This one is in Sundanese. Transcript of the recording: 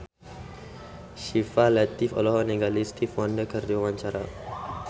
Syifa Latief olohok ningali Stevie Wonder keur diwawancara